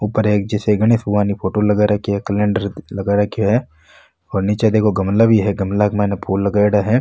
ऊपर एक जैसे गणेश भगवान की फोटो लगा राखी है कलेण्डर लगा राखी है और निचे देखो गमला भी है गमला के मायने फूल लगाईडा है।